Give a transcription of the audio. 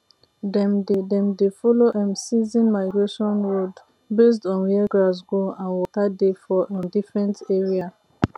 dem dey dem dey follow um season migration road based on where grass grow and water dey for um different area